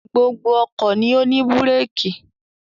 Gbogbo ọkọ̀ ni ó ní búrékì.